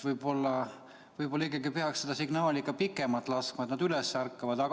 Võib-olla peaks ikkagi seda signaali pikemalt laskma, et nad üles ärkaksid.